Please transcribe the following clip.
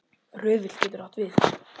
Röðull getur átt við